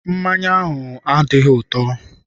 Mmanya ahụ adịghị ụtọ.